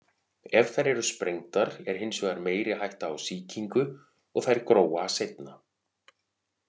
Ef þær eru sprengdar er hins vegar meiri hætta á sýkingu og þær gróa seinna.